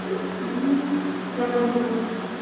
и я планирую с